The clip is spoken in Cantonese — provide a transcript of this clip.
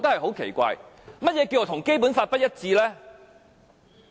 何謂跟《基本法》不一致？